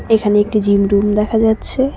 এখানে একটি gym room দেখা যাচ্ছে।